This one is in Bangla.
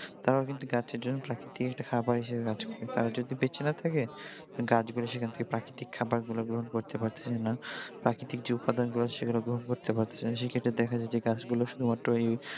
তারাও কিন্তু গাছেদের প্রাকৃতিক একটা খাবার হিসেবে কাজ করে তারা যদি বেঁচে না থাকে গাছগুলো সেখান থেকে প্রাকৃতিক খাবার গুলো গ্রহণ করতে পারতেছে না প্রাকৃতিক যে উপাদান গুলো সেগুলো গ্রহণ করতে পারতেছে না সে ক্ষেত্রে দেখা যায় যে গাছগুলো শুধুমাত্র এই